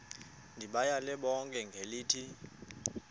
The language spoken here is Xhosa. ndibayale bonke ngelithi